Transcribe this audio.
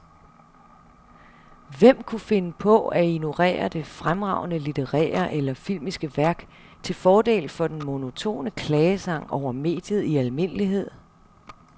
Hvem kunne finde på at ignorere det fremragende litterære eller filmiske værk til fordel for den monotone klagesang over mediet i almindelighed?